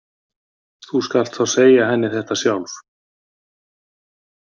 Þú skalt þá segja henni þetta sjálf!